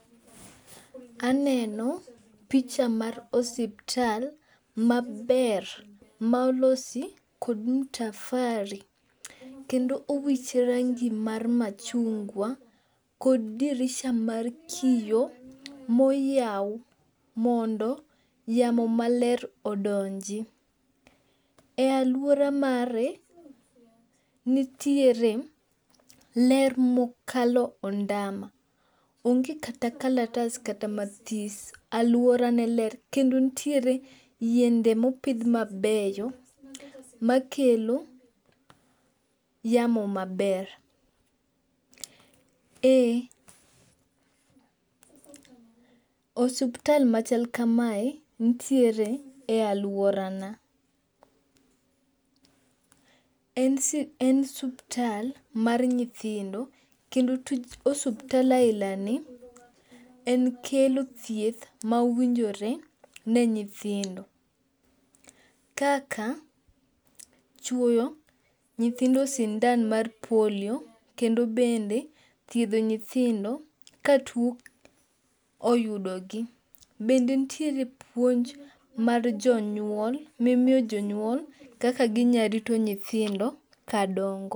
Aneno picha mar osiptal maber malosi kod mtafari kendo owiche rangi mar machungwa kod dirisa mar kiyo moyaw mondo yamo maler odonji. E aluora mare nitiere ler mokalo ondama. Onge kata kalatas kata mathis. Aluora ne ler kendo nitiere yiende mopidh mabeyo makelo yamo maber. Osuptal machal kamae nitiere e aluora na. En osuptal mar nyithindo kendo osuptal alna ni en kelo thieth mowinjore ne nyithindo kaka chwoyo nyithindo sindan mar polio kendo bende thiedho nyithindo ka tuo oyudo gi. Bende nitiere puonj mar jonyuol mimiyo jonyuol kaka ginya rito nyithindo ka dongo.